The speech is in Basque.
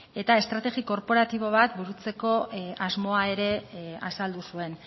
eta estrategia korporatibo bat burutzeko asmoa ere azaldu zuen